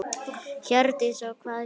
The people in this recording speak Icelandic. Hjördís: Og hvað gerðist?